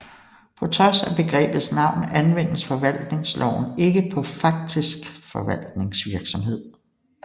På trods af begrebets navn anvendes forvaltningsloven ikke på faktisk forvaltningsvirksomhed